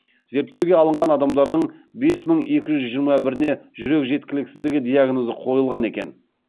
зерттеуге алынған адамдардың бес мың екі жүз жиырма біріне жүрек жеткіліксіздігі диагнозы қойылған екен